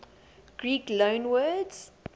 greek loanwords